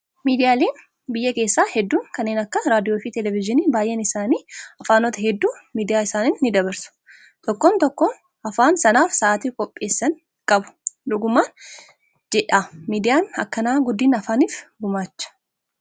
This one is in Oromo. Miidiyaaleen biyya keessaa hedduun kanneen akka raadiyoo fi televezyiinii baay'een isaanii afaanota hedduu miidiyaa isaaniin ni dabarsu. Tokkoon tokkoo afaan sanaaf sa'aatii qopheessan qabu. Dhuguman jedhaa miidiyaan akkanaa guddina afaaniif ni gumaacha.